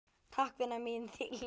Takk, vina mín, þín Hlín.